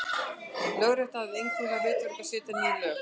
Lögrétta hafði einkum það hlutverk að setja ný lög.